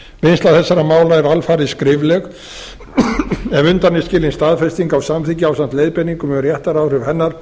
vinnsla þessara mála er alfarið skrifleg ef undan er skilin staðfesting á samþykki ásamt leiðbeiningum um réttaráhrif hennar